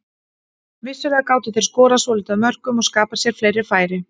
Vissulega gátu þeir skorað svolítið af mörkum og skapað sér fleiri færi.